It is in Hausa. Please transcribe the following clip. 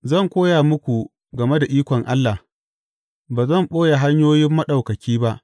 Zan koya muku game da ikon Allah; ba zan ɓoye hanyoyin Maɗaukaki ba.